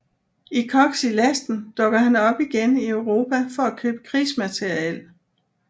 I Koks i lasten dukker han op igen i Europa for at købe krigsmateriel